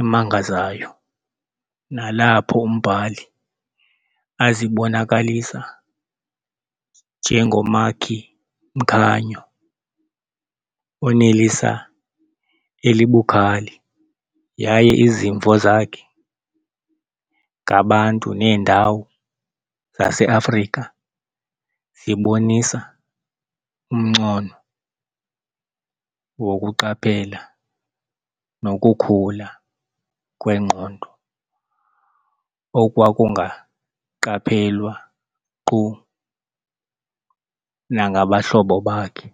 emangazayo nalapho umbhali azibonakalisa njengomakhi-mkhanyo oneliso elibukhali yaye izimvo zakhe ngabantu neendawo zaseAfrika zibonisa umncono wokuqaphela nokukhula kwengqondo okwakungaqaphelwa nkqu nangabahlobo bakhe.